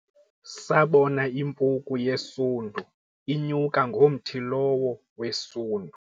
sabona impuku yesundu inyuka ngomthi lowo wesundu